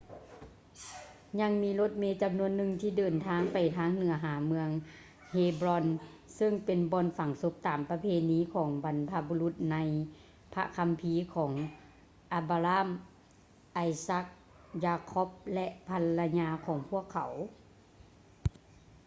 ຍັງມີລົດເມຈຳນວນໜຶ່ງທີ່ເດີນທາງໄປທາງເໜືອຫາເມືອງ ເຮບຼອນ hebron ຊຶ່ງເປັນບ່ອນຝັງສົບຕາມປະເພນີຂອງບັນພະບຸລຸດໃນພະຄຳພີ ຂອງ ອະບຼາຮາມ abraham ໄອຊັກ isaac ຢາຄ໊ອບ jacob ແລະ ພັນລະຍາຂອງພວກເຂົາ